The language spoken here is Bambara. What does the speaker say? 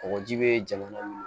Kɔgɔji bɛ jamana